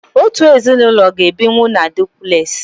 otu ezinụlọ ga-ebinwu na dupules.